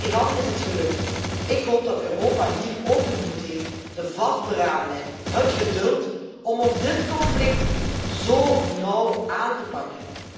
Met Iran is het gelukt. Ik hoop dat Europa nu ook de moed heeft, de vastberadenheid, het geduld om ook dit conflict zo nauw aan te pakken.